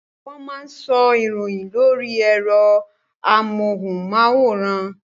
Wọ́n máa ń sọ ìròyìn lóri ẹ̀rọ amóhùnmáwòrán.